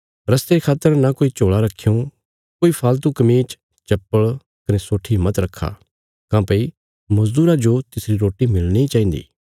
रस्ते खातर न कोई झोल़ा रक्खयों कोई फालतू कमीज चप्पल़ कने सोट्ठी मत रखा काँह्भई मजदूरा जो तिसरी रोटी मिलणी चाहिन्दी